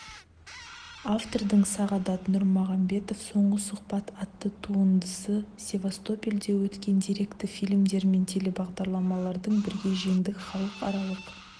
автордың сағадат нұрмағамбетов соңғы сұхбат атты туындысы севастопольде өткен деректі фильмдер мен телебағдарламалардың бірге жеңдік халықаралық